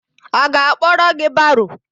A ga-akpọrọ gị baro?